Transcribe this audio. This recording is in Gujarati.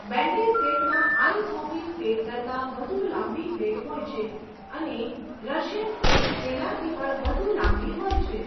બેન્ડી સ્કેટમાં આઇસ હોકી સ્કેટ કરતાં વધુ લાંબી બ્લેડ હોય છે અને 'રશિયન સ્કેટ' તેનાથી પણ વધુ લાંબી હોય છે.